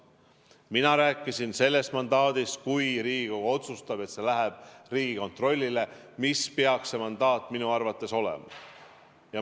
Mina rääkisin sellest mandaadist,, kui Riigikogu otsustab, et see läheb Riigikontrollile, sellest, milline peaks see mandaat minu arvates olema.